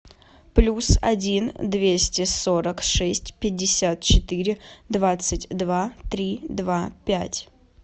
плюс один двести сорок шесть пятьдесят четыре двадцать два три два пять